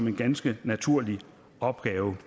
en ganske naturlig opgave